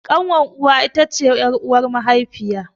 Ƙanwar uwa it ce ƴar'uwar mahaifiya.